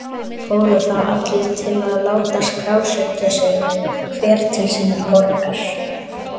Fóru þá allir til að láta skrásetja sig, hver til sinnar borgar.